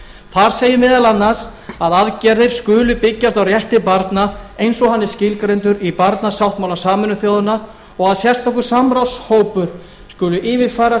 þar segir meðal annars að aðgerðir skuli byggjast á rétti barna eins og hann er skilgreindur í barnasáttmála sameinuðu þjóðanna og að sérstakur samráðshópur skuli yfirfara